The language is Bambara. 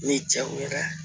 Ni jaw yɛrɛ